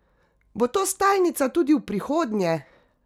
Bo to stalnica tudi v prihodnje?